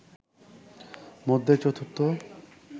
মধ্যে চতুর্থ